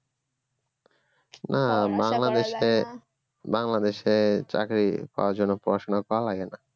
না বাংলাদেশে বাংলাদেশে চাকরি পাওয়ার জন্য পড়াশোনা করা লাগে না